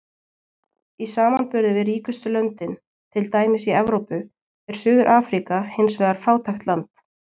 Í samanburði við ríkustu löndin, til dæmis í Evrópu, er Suður-Afríka hins vegar fátækt land.